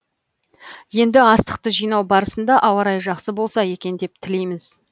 енді астықты жинау барысында ауа райы жақсы болса екен деп тілейміз